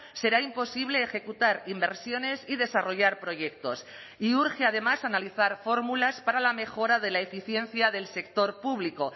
será imposible ejecutar inversiones y desarrollar proyectos y urge además analizar fórmulas para la mejora de la eficiencia del sector público